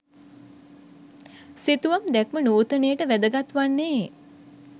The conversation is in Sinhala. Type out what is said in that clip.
සිතුවම් දැක්ම නූතනයට වැදගත් වන්නේ